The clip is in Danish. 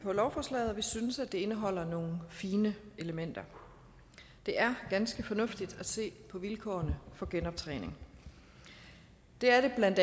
på lovforslaget og vi synes det indeholder nogle fine elementer det er ganske fornuftigt at se på vilkårene for genoptræning det er det bla